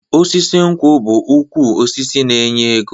Osisi nkwụ bụ ukwu osisi na-enye ego.